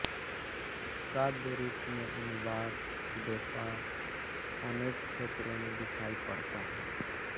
साध्य रूप में अनुवाद व्यापार अनेक क्षेत्रों में दिखाई पड़ता है